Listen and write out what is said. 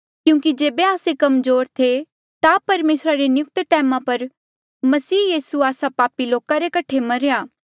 क्यूंकि जेबे आस्से कमजोर थे ता परमेसरा रे नियुक्त टैमा पर मसीह यीसू आस्सा पापी लोका रे कठे मरेया